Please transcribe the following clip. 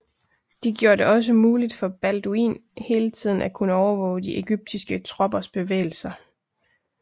De gjorde det også muligt for Balduin hele tiden at kunne overvåge de egyptiske troppers bevægelser